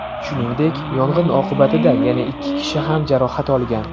Shuningdek, yong‘in oqibatida yana ikki kishi ham jarohat olgan.